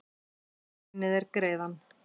Guð launi þér greiðann